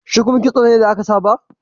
Shuku kitso ne da aka saba